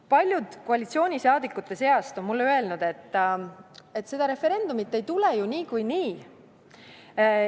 " Paljud koalitsiooni liikmete seast on mulle öelnud, et seda referendumit ei tule ju niikuinii.